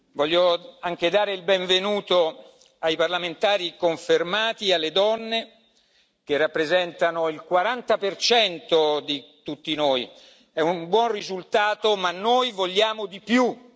Voglio anche dare il benvenuto ai parlamentari confermati e alle donne, che rappresentano il 40 di tutti noi è un buon risultato ma noi vogliamo di più.